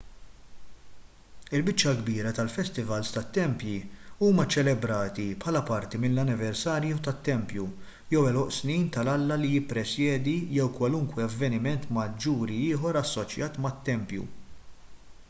il-biċċa l-kbira tal-festivals tat-tempji huma ċċelebrati bħala parti mill-anniversarju tat-tempju jew għeluq snin tal-alla li jippresjedi jew kwalunkwe avveniment maġġuri ieħor assoċjat mat-tempju